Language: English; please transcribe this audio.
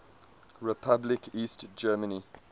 republic east germany